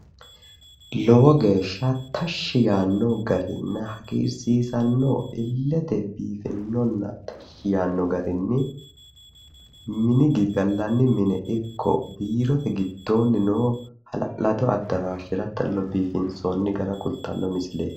Lowo geeshsha tashshi yaanno garinna hagiirsiisanno illite biifinonna tashshi yaanno garinni mini giddo gallanni mine ikke biirote giddoonni noo hala'lado addaraashera talle biifinsoonni gara kultanno misileeti.